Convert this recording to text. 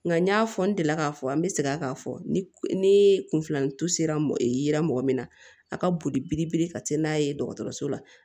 Nka n y'a fɔ n delila k'a fɔ an bɛ segin k'a fɔ ni kun filanin sera mɔgɔ min ma a ka boli biri biri ka taa n'a ye dɔgɔtɔrɔso la